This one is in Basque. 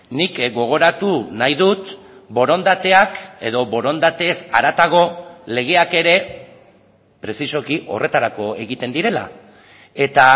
nik gogoratu nahi dut borondateak edo borondatez haratago legeak ere prezisoki horretarako egiten direla eta